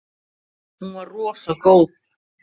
Hún var rosa góð.